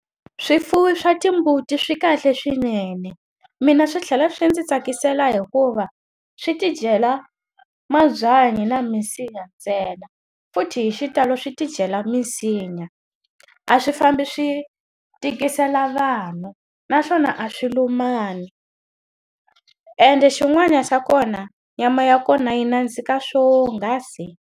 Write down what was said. Swifuwo swa timbuti swi kahle swinene. Mina swi tlhela swi ndzi tsakisela hikuva swi tidyela mabyanyi na minsinya ntsena. Futhi hi xitalo swi tidyela minsinya, a swi fambi swi tikisela vanhu. Naswona a swi lumani, ende xin'wana xa kona nyama ya kona yi nandzika swonghasi.